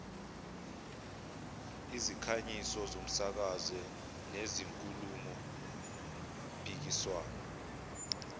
izikhangiso zomsakazo nezinkulumompikiswano